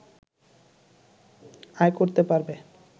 আয় করতে পারবে